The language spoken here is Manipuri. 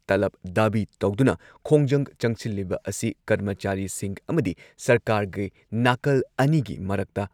ꯇꯂꯕ ꯗꯥꯕꯤ ꯇꯧꯗꯨꯅ ꯈꯣꯡꯖꯪ ꯆꯪꯁꯤꯜꯂꯤꯕ ꯑꯁꯤ ꯀꯔꯃꯆꯥꯔꯤꯁꯤꯡ ꯑꯃꯗꯤ ꯁꯔꯀꯥꯔꯒꯤ ꯅꯥꯀꯜ ꯑꯅꯤꯒꯤ ꯃꯔꯛꯇ